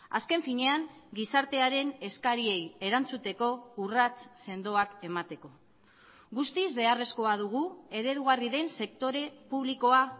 azken finean gizartearen eskariei erantzuteko urrats sendoak emateko guztiz beharrezkoa dugu eredugarri den sektore publikoa